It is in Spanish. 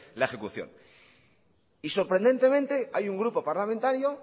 la ejecución y sorprendentemente hay un grupo parlamentario